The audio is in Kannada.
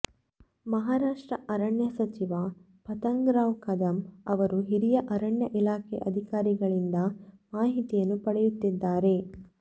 ಮಹಾರಾಷ್ಟ್ರ ಅರಣ್ಯ ಸಚಿವ ಪತಂಗರಾವ್ ಕದಂ ಅವರು ಹಿರಿಯ ಅರಣ್ಯ ಇಲಾಖೆ ಅಧಿಕಾರಿಗಳಿಂದ ಮಾಹಿತಿಯನ್ನು ಪಡೆಯುತ್ತಿದ್ದಾರೆ